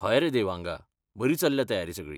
हय रे देवांगा! बरी चल्ल्या तयारी सगळी.